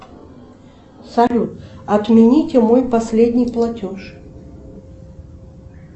салют отмените мой последний платеж